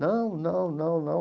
Não, não, não, não.